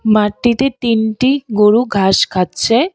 মাটিতে তিনটি গরু ঘাস খাচ্ছে।